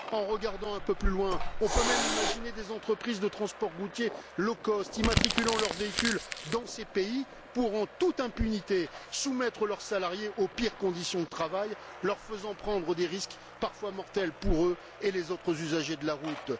En regardant un peu plus loin, on peut même imaginer des entreprises de transport routier low cost immatriculant leur véhicule dans ces pays pour pouvoir, en toute impunité, soumettre leurs salariés aux pires conditions de travail, en leur faisant prendre des risques, parfois mortels pour eux et les autres usagers de la route.